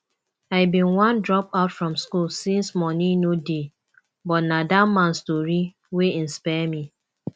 i bin wan drop out from school since money no dey but na dat man story wey inspire me